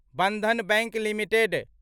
Bandhan bank limited